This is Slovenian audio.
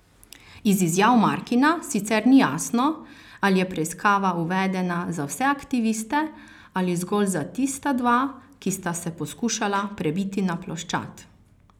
Iz izjav Markina sicer ni jasno, ali je preiskava uvedena za vse aktiviste ali zgolj za tista dva, ki sta se poskušala prebiti na ploščad.